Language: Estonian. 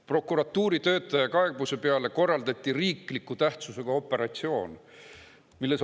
Prokuratuuri töötaja kaebuse peale korraldati riikliku tähtsusega operatsioon.